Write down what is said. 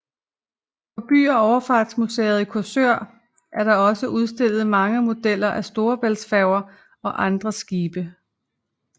På By og Overfartsmuseet i Korsør er der også udstillet mange modeller af Storebæltsfærger og andre skibe